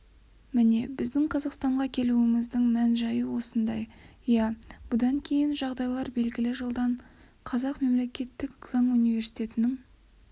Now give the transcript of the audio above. міне біздің қазақстанға келуіміздің мән-жайы осындай иә бұдан кейінгі жағдайлар белгілі жылдан қазақ мемлекеттік заң университетінің